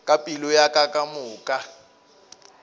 ka pelo ya ka kamoka